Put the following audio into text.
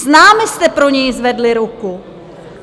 S námi jste pro něj zvedli ruku.